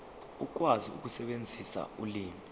ukwazi ukusebenzisa ulimi